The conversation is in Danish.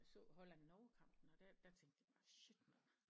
Jeg så Holland Norge kampen og der tænkte jeg bare shit mand